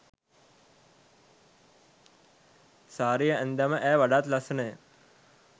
සාරිය ඇන්දාම ඈ වඩාත් ලස්සණ ය.